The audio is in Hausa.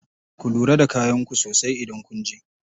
Ku lura da kayan ku sosai idan kunje.